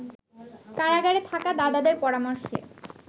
কারাগারে থাকা দাদাদের পরামর্শে